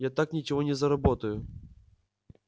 я так ничего не заработаю